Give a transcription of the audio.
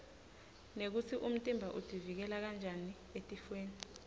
nekutsi umtimba utiuikela njani etifwoni